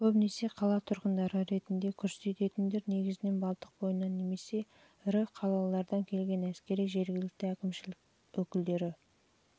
көбінесе қала тұрғындары ретінде көрсететіндер негізінен балтық бойынан немесе ірі қалалардан келген әскери жергілікті әкімшілік өкілдері